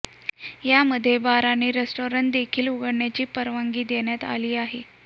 यामध्ये बार आणि रेस्टॉरंट देखील उघडण्याची परवानगी देण्यात आली आहे